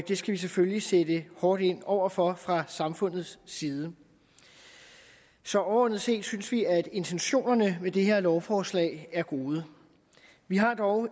det skal vi selvfølgelig sætte hårdt ind over for fra samfundets side så overordnet set synes vi at intentionerne med det her lovforslag er gode vi har dog